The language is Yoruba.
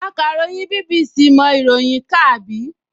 Akàròyìn BBC mọ ìròyìn kà, àbí?